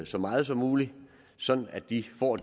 så meget som muligt sådan at de får